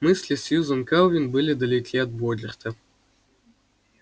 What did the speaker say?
мысли сьюзен кэлвин были далеки от богерта